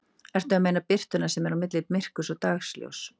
Ertu að meina birtuna sem er á milli myrkurs og dagsljóss?